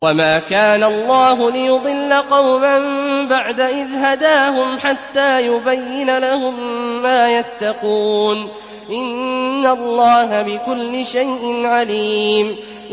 وَمَا كَانَ اللَّهُ لِيُضِلَّ قَوْمًا بَعْدَ إِذْ هَدَاهُمْ حَتَّىٰ يُبَيِّنَ لَهُم مَّا يَتَّقُونَ ۚ إِنَّ اللَّهَ بِكُلِّ شَيْءٍ عَلِيمٌ